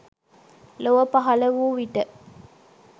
ලොව පහළ වූ විට